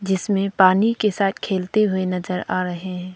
जिसमें पानी के साथ खेलते हुए नजर आ रहे है।